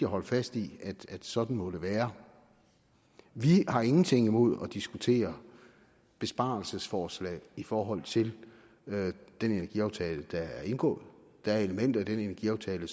holde fast i sådan må det være vi har ingenting imod at diskutere besparelsesforslag i forhold til den energiaftale der er indgået der er elementer i den energiaftale